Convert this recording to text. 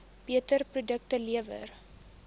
beter produkte lewer